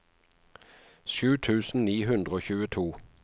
sju tusen ni hundre og tjueto